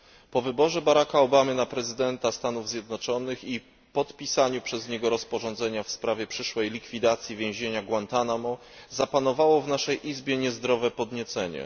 Po wyborze Baracka Obamy na prezydenta Stanów Zjednoczonych i podpisaniu przez niego porozumienia w sprawie przyszłej likwidacji więzienia Guantanamo zapanowało w naszej Izbie niezdrowe podniecenie.